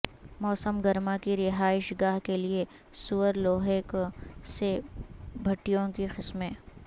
موسم گرما کی رہائش گاہ کے لئے سور لوہے سے بھٹیوں کی قسمیں